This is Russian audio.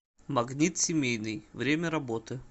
магнит семейный время работы